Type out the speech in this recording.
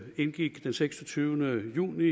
indgik den seksogtyvende juni